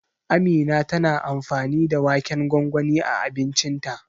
Amina tana amfani da waken gwangwani a abincinta.